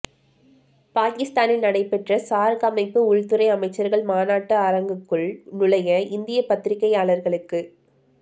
பாகிஸ்தானில் நடைபெற்ற சார்க் அமைப்பு உள்துறை அமைச்சர்கள் மாநாட்டு அரங்குக்குள் நுழைய இந்தியப் பத்திரிகையாளர்களுக்கு